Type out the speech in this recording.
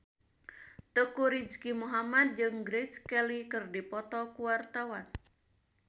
Teuku Rizky Muhammad jeung Grace Kelly keur dipoto ku wartawan